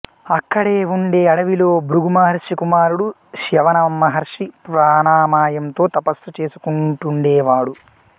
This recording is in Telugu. ఆక్కడే ఉండే అడవిలో భృగు మహర్షి కుమారుడు చ్యవన మహర్షి ప్రాణామాయంతో తపస్సు చేసుకొంటుండేవాడు